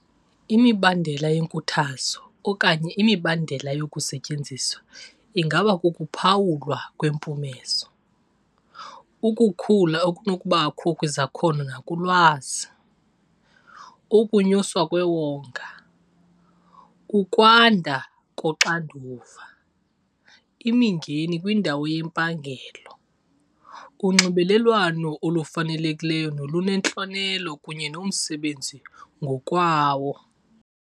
Imibandela yenkuthazo okanye imibandela yokusetyenziswa ingaba kukuphawulwa kwempumezo, ukukhula okunokubakho kwizakhono nakulwazi, ukunyuswa kwewonga, ukwanda koxanduva, imingeni kwindawo yempangelo, unxibelelwano olufanelekileyo nolunentlonelo kunye nomsebenzi ngokwawo.